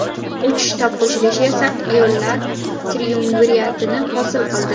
Uch shtab qo‘shilishi esa ayollar triumviratini hosil qildi.